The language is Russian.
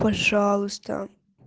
пожалуйста